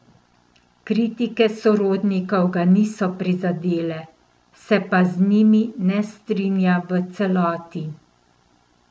Kritike sodnikov ga niso prizadele, se pa z njimi ne strinja v celoti.